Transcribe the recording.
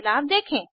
बदलाव देखें